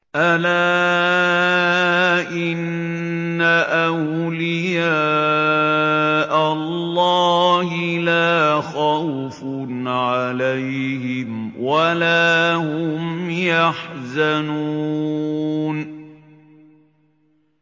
أَلَا إِنَّ أَوْلِيَاءَ اللَّهِ لَا خَوْفٌ عَلَيْهِمْ وَلَا هُمْ يَحْزَنُونَ